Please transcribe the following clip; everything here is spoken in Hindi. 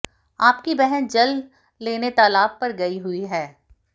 आपकी बहन जल लेने तालाब पर गई हुई हैं